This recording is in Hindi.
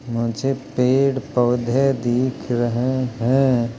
मुझे पेड़ पौधे दीख दि रहे हैं।